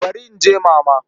To barin je Mama.